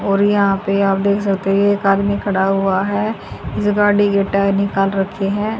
और यहां पे आप देख सकते हो एक आदमी खड़ा हुआ है इस गाड़ी के टायर निकाल रखे है।